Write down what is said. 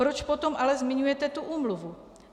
Proč potom ale zmiňujete tu úmluvu?